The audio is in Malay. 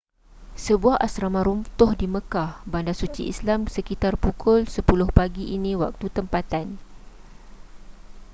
sebuah asrama runtuh di makkah bandar suci islam sekitar pukul 10 pagi ini waktu tempatan